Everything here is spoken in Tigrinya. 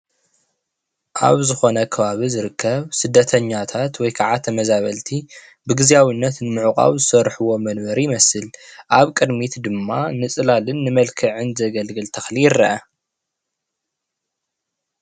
ኣብ ዝኾነ ከባቢ ዝርከብ ስደተኛታት ወይ ከዓ ተመዛበልቲ ብግዝያዊነት ንመዕቋብ ዝሰርሕዎ መንበሪ ይመስል። ኣብ ቅድሚት ድማ ንፅላልን ንመልክዕ ዘገልግልን ተክሊ ይረአ።